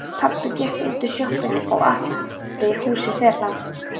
Pabbi gekk útúr sjoppunni og uppí húsið þeirra.